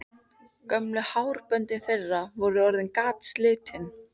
Gömlu hárböndin þeirra voru orðin gatslitin.